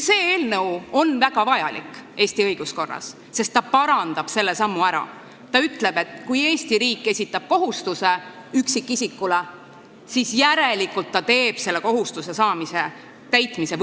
See eelnõu on Eesti õiguskorras väga vajalik, sest parandab selle ära, öeldes, et kui Eesti riik esitab üksikisikule kohustuse, siis teeb ta võimalikuks ka selle kohustuse täitmise.